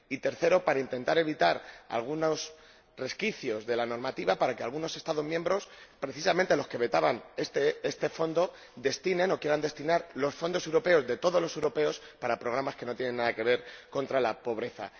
y, en tercer lugar, para intentar evitar algunos resquicios de la normativa que permiten que algunos Estados miembros, precisamente los que vetaban este Fondo, destinen o quieran destinar los fondos europeos, de todos los europeos, a programas que no tienen nada que ver con la lucha contra la pobreza.